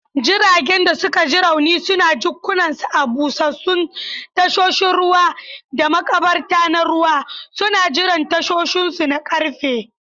Jiragen da suka ji rauni suna jikkunansu a busassun tasoshin ruwa da makabarta na ruwa, suna jiran tashinsu na ƙarfe.